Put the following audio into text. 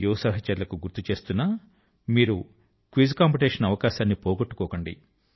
యువ సహచరులకు గుర్తు చేస్తున్నా మీరు క్విజ్ కాంపిటీషన్ అవకాశాన్ని పోగొట్టుకోకండి